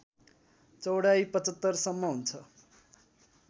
चौडाइ ७५ सम्म हुन्छ